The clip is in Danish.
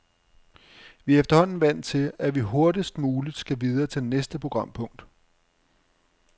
Vi er efterhånden vant til, at vi hurtigst muligt skal videre til næste programpunkt.